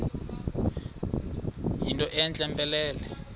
yinto entle mpelele